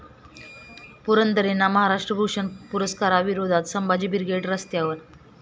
पुरंदरेंना महाराष्ट्र भूषण पुरस्काराविरोधात संभाजी ब्रिगेड रस्त्यावर